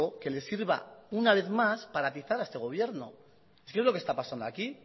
que le sirva una vez más para atizar a este gobierno es que es lo que está pasando aquí